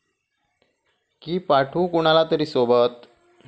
की पाठवू कुणाला तरी सोबत?